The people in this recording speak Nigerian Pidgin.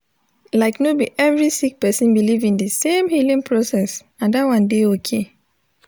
like no bi every sik person biliv in di sem healing process and dat one dey okay